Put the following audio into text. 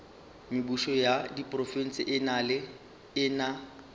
mebušo ya diprofense e na